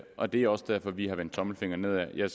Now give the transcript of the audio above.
og det er også derfor at vi har vendt tommelfingeren nedad jeg